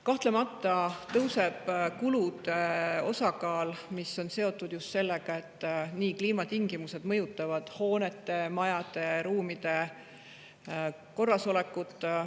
Kahtlemata tõusevad kulud, mis on seotud just sellega, et kliimatingimused mõjutavad hoonete, majade ja ruumide korrasolekut.